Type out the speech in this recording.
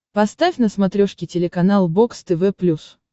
поставь на смотрешке телеканал бокс тв плюс